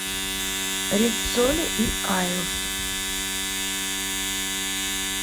риццоли и айлс